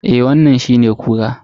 Eh wannan shine kura.